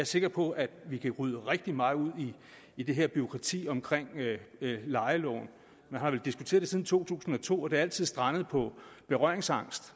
sikker på at vi kan rydde rigtig meget ud i det her bureaukrati omkring lejeloven man har vel diskuteret det siden to tusind og to og det er altid strandet på berøringsangst